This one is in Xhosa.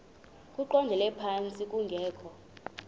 eqondele phantsi kungekho